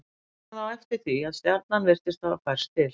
tók hann þá eftir því að stjarnan virtist hafa færst til